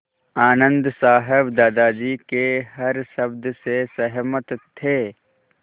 आनन्द साहब दादाजी के हर शब्द से सहमत थे